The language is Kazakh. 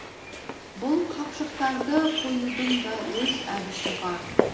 бұл қапшықтарды қоюдың да өз әдісі бар